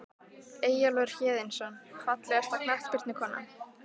Eyjólfur Héðinsson Fallegasta knattspyrnukonan?